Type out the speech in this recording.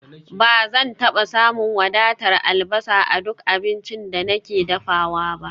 Ba zan taba samun wadatar albasa a duk abincin da nake dafawa ba